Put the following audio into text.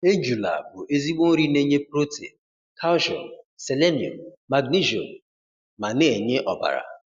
Ejula bụ ezigbo nri na-enye protein, calcium, selenium, magnesium ma na-enye ọbara.